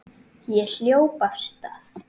Ég hljóp af stað.